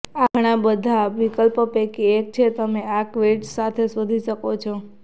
આ ઘણા બધા વિકલ્પો પૈકી એક છે જે તમે આ કીવર્ડ્સ સાથે શોધી શકો છો